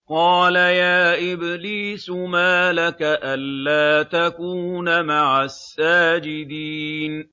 قَالَ يَا إِبْلِيسُ مَا لَكَ أَلَّا تَكُونَ مَعَ السَّاجِدِينَ